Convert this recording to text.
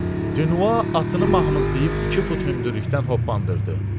Dinua atını mahmızlayıb iki fut hündürlükdən hoppandırdı.